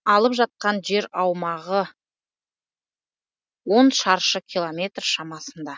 алып жатқан жер аумағы он шаршы километр шамасында